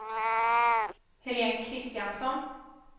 Helén Kristiansson